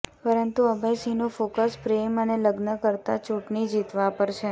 પરંતુ અભય સિંહનું ફોકસ પ્રેમ અને લગ્ન કરતા ચૂંટણી જીતવા પર છે